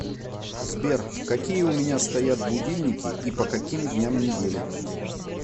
сбер какие у меня стоят будильники и по каким дням недели